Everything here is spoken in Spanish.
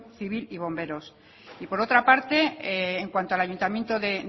civil y bomberos y por otra parte en cuanto al ayuntamiento de